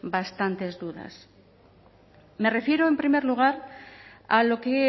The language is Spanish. bastantes dudas me refiero en primer lugar a lo que